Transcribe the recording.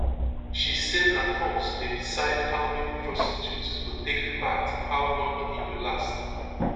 she say na combs dey decide how many prostitutes go take part how long e go last